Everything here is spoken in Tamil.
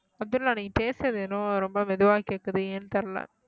அப்துல்லாஹ் நீங்க பேசறது என்னவோ ரொம்ப மெதுவா கேக்குது ஏன்னு தெரியல